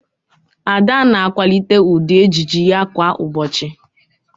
Ada na-akwalite ụdị ejiji ya kwa ụbọchị